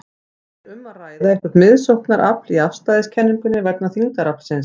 Er um að ræða eitthvert miðsóknarafl í afstæðiskenningunni vegna þyngdaraflsins?